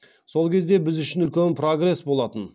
сол кезде біз үшін үлкен прогресс болатын